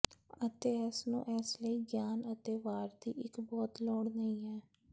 ਅਤੇ ਇਸ ਨੂੰ ਇਸ ਲਈ ਗਿਆਨ ਅਤੇ ਵਾਰ ਦੀ ਇੱਕ ਬਹੁਤ ਲੋੜ ਨਹੀ ਹੈ